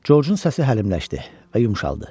Corcun səsi həlimləşdi və yumşaldı.